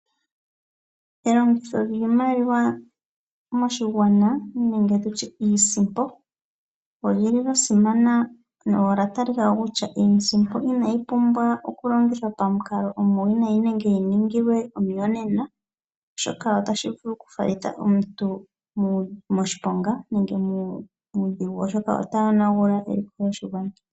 Elongitho lyiimaliwa moshigwana nenge tutye iisimpo olyili lyasimana nolya talikako kutya iisimpo inayi pumbwa okulongithwa pamukalo omuwinayi nenge yiningilwe omiyonena . Shoka otashi vulu oku falitha omuntu moshiponga nenge muudhigu oshoka otayonagula eliko lyoshilongo.